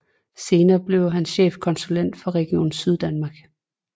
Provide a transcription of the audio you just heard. Senere blev han chefkonsulet for Region Syddanmark